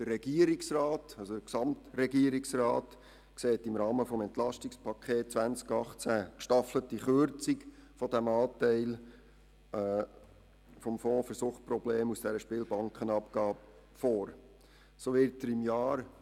Der Gesamtregierungsrat sieht im Rahmen des EP 18 eine gestaffelte Kürzung der Gelder aus der Spielbankenabgabe für den Fonds für Suchtprobleme vor.